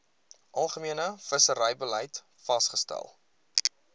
algemene visserybeleid vasgestel